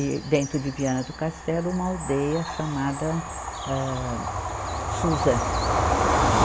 E dentro de Viana do Castelo, uma aldeia chamada, âh Suzã.